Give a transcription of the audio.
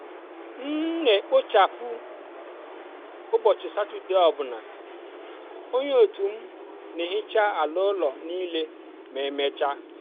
m n'ekpochapụ ụbọchị satọde ọ bụla onye otu m n'ehecha ala ụlọ niile ma emechaa.